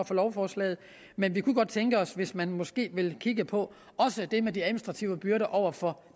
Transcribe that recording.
for lovforslaget men vi kunne godt tænke os hvis man måske også ville kigge på det med de administrative byrder over for